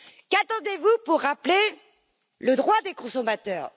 Qu'attendez vous pour rappeler le droit des consommateurs?